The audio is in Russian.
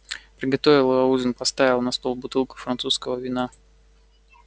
приготовила ужин поставила на стол бутылку французского вина